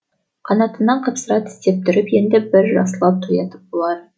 қанатынан қапсыра тістеп тұрып енді бір жақсылап тоятын боламын